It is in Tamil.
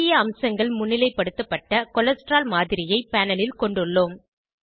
முக்கிய அம்சங்கள் முன்னிலைப்படுத்தப்பட்ட கொலஸ்ட்ரால் மாதிரியை பேனல் ல் கொண்டுள்ளோம்